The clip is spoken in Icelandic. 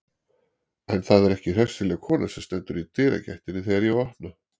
En það er ekki hressileg kona sem stendur í dyragættinni þegar ég opna.